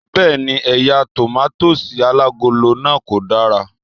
Bẹ́ẹ̀ni, eya tòmátósì alágolo náà ko dara